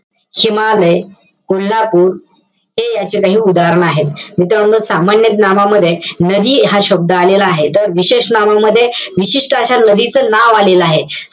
हिमालय, कोल्हापूर. हे याचे काही उदाहरणं आहेत. मित्रांनो, सामान्य नामामध्ये नदी हा शब्द आलेला आहे. तर विशेष नामामध्ये, विशिष्ट अशा नदीचं नाव आलेलं आहे.